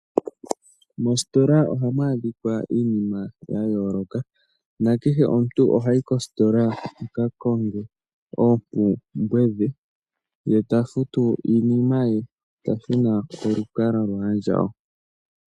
Moositola ohamu adhika iinima ya yooloka. Nakehe omuntu oha yi kositola a ka konge oompumbwe dhe, ye ta futu iinima ye nokonima oha shuna kolukalwa lwaandjawo.